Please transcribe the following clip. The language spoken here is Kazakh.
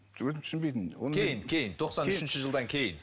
өзім түсінбейтінмін кейін кейін тоқсан үшінші жылдан кейін